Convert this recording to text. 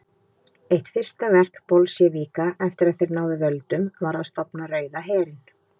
Eitt fyrsta verk Bolsévíka eftir að þeir náðu völdum var að stofna Rauða herinn.